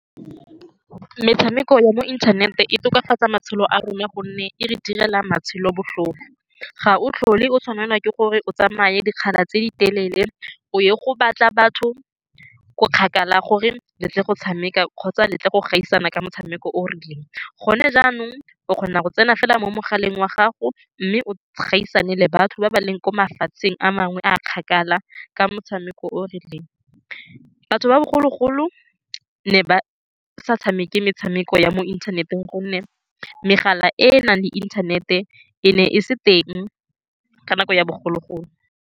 Metshameko ya mo inthanete e tokafatsa matshelo a rona ka gonne e re direla matshelo botlhofo. Ga o tlhole o tshwanelwa ke gore o tsamaye dikgala tse di telele o ye go batla batho ko kgakala gore o letle go tshameka kgotsa letle go gaisana ka motshameko o o rileng. Gone jaanong o kgona go tsena fela mo mogaleng wa gago mme o gaisana le batho ba ba leng ko mafatsheng a mangwe a a kgakala ka motshameko o o rileng. Batho ba bogologolo ne ba sa tshameke metshameko ya mo inthaneteng ka gonne megala e e nang le inthanete e ne e se teng ka nako ya bogologolo.